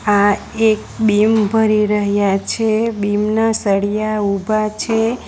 આ એક બીમ ભરી રહ્યા છે બીમ ના સળિયા ઉભા છે.